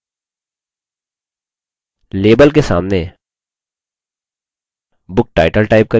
label के सामने book title type करिये